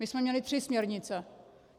My jsme měli tři směrnice.